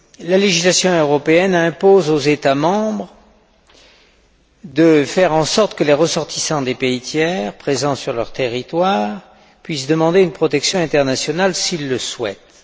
La législation européenne impose aux États membres de faire en sorte que les ressortissants des pays tiers présents sur leur territoire puissent demander une protection internationale s'ils le souhaitent.